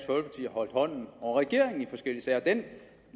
holdt hånden over regeringen i forskellige sager og den